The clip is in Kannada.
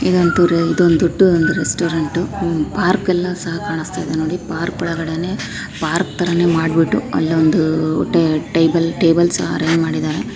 ಇದೊಂದ್ ತುರ ಇದೊಂದ್ ದೊಡ್ದು ಒಂದು ರೆಸ್ಟೋರೆಂಟ್ . ಪಾರ್ಕ್ ಯಲ್ಲಾ ಸಹಾ ಕಾಣಸ್ತಾಯಿದೆ ನೋಡಿ. ಪಾರ್ಕ್ ಒಳಗಡೇನೇ ಪಾರ್ಕ್ ಥರನೇ ಮಾಡ್ಬಿಟ್ಟು ಅಲ್ಲಿಯೊಂದು ಟೈ ಟೇಬಲ್ ಟೇಬಲ್ ಸಹಾ ಅರೆಂಜ್ ಮಾಡಿದಾರೆ.